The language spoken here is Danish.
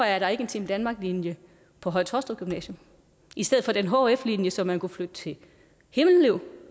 er der ikke en team danmark linje på høje taastrup gymnasium i stedet for den hf linje som man kunne flytte til himmelev